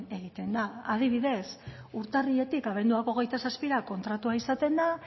egiten da adibidez urtarriletik abenduak hogeita zazpira kontratua izaten da